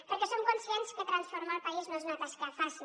perquè som conscients que transformar el país no és una tasca fàcil